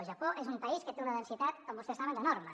el japó és un país que té una densitat com vostès saben enorme